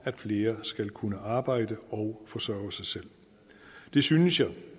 at flere skal kunne arbejde og forsørge sig selv det synes jeg